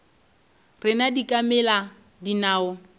rena di ka mela dinao